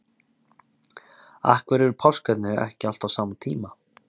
Af hverju eru páskarnir ekki alltaf á sama tíma?